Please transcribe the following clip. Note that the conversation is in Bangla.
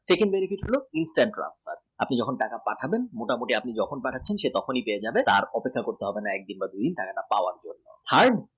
Third যেটি বড় কথা instant draft আপনি যখন টাকা পাঠাচ্ছেন সে তখনই পেয়ে যাবে তার অপেক্ষা করতে হবে না এক দিন বা দু দিন টাকা পেতে